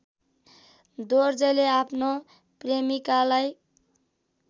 दोर्जेले आफ्नो प्रेमिकालाई